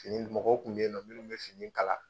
Fini, mɔgɔw kun bɛ ye nɔn minnu bɛ fini kala.